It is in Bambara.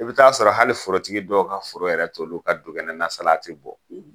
I bɛ taa'a sɔrɔ hali forotigi dɔw ka foro yɛrɛ t'olu ka dukɛnɛna salati bɔ.